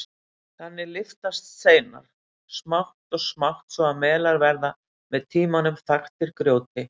Þannig lyftast steinar smátt og smátt svo að melar verða með tímanum þaktir grjóti.